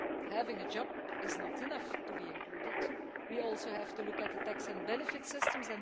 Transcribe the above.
Having a job is not enough to be included, we also have to look at the tax and benefit systems.